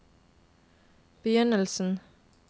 begynnelsen